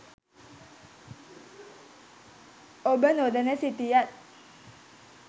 ඔබ නොදැන සිටියත්